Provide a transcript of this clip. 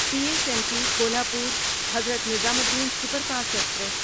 C S M T Kolhapur Hazrat Nizamuddin superfast express